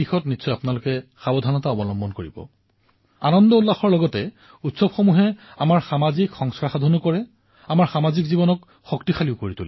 আনন্দও হব লাগে উৎসাহো হব লাগে আৰু আমাৰ উৎসৱসমূহে সামূহিকতাৰ সুঘ্ৰাণ কঢ়িয়াই আনে আৰু সামূহিকতাৰ সংস্কাৰো প্ৰদান কৰে